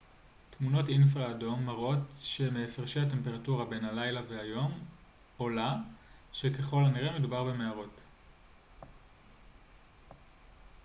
תמונות אינפרה אדום מראות שמהפרשי הטמפרטורה בין הלילה והיום עולה שככל הנראה מדובר במערות